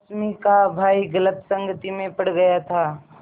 रश्मि का भाई गलत संगति में पड़ गया था